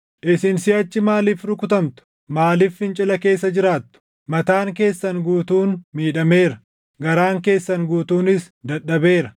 Isin siʼachi maaliif rukutamtu? Maaliif fincila keessa jiraatu? Mataan keessan guutuun miidhameera; garaan keessan guutuunis dadhabeera.